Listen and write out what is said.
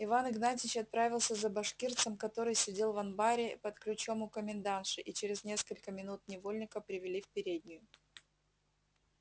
иван игнатьич отправился за башкирцем который сидел в анбаре под ключом у комендантши и через несколько минут невольника привели в переднюю